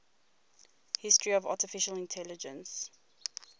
history of artificial intelligence